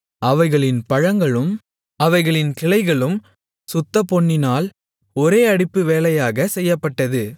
அவைகளின் பழங்களும் அவைகளின் கிளைகளும் சுத்தப்பொன்னினால் ஒரே அடிப்பு வேலையாகச் செய்யப்பட்டது